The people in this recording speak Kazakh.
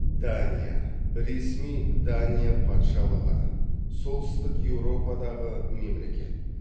дания ресми дания патшалығы солтүстік еуропадағы мемлекет